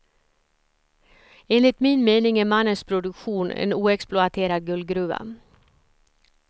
Enligt min mening är mannens produktion en oexploaterad guldgruva.